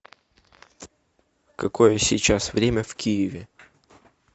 какое сейчас время в киеве